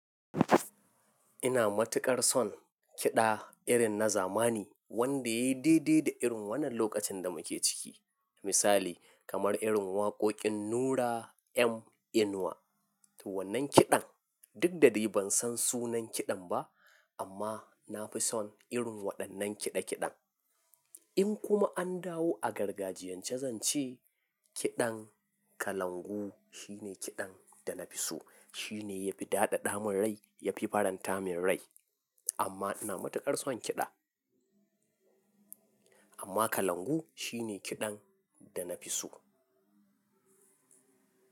Ina matuƙar son kiɗa irin na zamani wanda ya daidaita da irin wannan lokacin da muke ciki. Misali kamar irin waƙoƙin Nura M Inuwa. Wannan kiɗan duk da dai ban san sunan kiɗan ba amma na fi son irin waɗannan kiɗa kiɗan. In kuma an dawo a gargajiyan ce, zan ce kiɗan kalangu shine kiɗan da na fi so. Shine yafi daɗaɗa min rai, yafi faranta min rai amma ina matuƙar son kiɗa. Amma kalangu shine kiɗan da na fi so.